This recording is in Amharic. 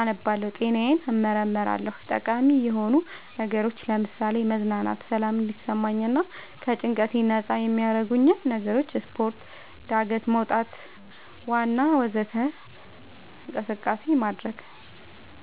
አነባለሁ ጤናዬን እመረመራለሁ ጠቃሚ የሆኑ ነገሮች ለምሳሌ መዝናናት ሰላም እንዲሰማኝ ከጭንቀት ነፃ የሚያረጉኝ ነገሮች ስፓርት ጋደት መውጣት ዋና ወዘተ እንቅስቃሴ ማድረግ